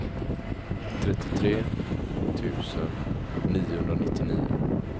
trettiotre tusen niohundranittionio